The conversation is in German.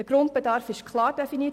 Der Grundbedarf ist klar definiert.